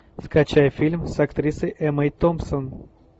скачай фильм с актрисой эммой томпсон